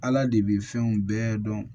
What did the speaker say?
Ala de bɛ fɛnw bɛɛ dɔn